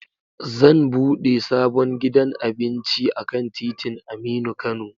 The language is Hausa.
Zan bude sabon gidan abinci akan titin Aminu Kano